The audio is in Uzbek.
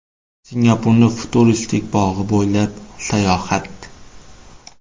Singapurning futuristik bog‘i bo‘ylab sayohat.